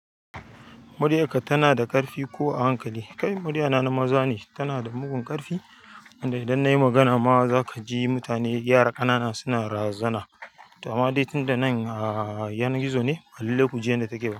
Muriya ka tana da ƙarfi ko a hankali? Kai, muriya na maza ne, tana da mugun ƙarfi, inda idan nayi magana ma za ka ji mutane gyara ƙanana suna razana. To ama dai tunda nan a yanar gizo ne, hallilu ku ji yadda take ba.